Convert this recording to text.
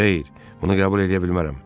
Xeyr, bunu qəbul eləyə bilmərəm.